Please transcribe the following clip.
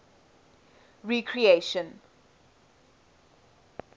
recreation